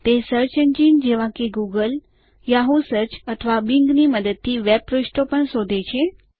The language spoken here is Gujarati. તે સર્ચ એન્જિન જેવા કે ગૂગલ યાહૂ સર્ચ અથવા બિંગ ની મદદથી વેબ પાનાંઓ પણ શોધે છે